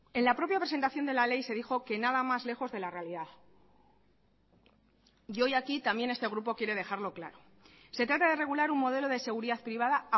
en la propia presentación de la ley se dijo que nada más lejos de la realidad y hoy aquí también este grupo quiere dejarlo claro se trata de regular un modelo de seguridad privada